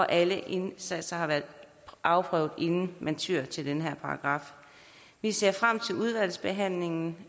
alle indsatser har været afprøvet inden man tyer til denne paragraf vi ser frem til udvalgsbehandlingen